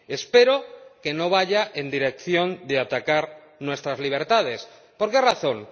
Espero que no vaya en la dirección de atacar nuestras libertades. ¿Por qué razón?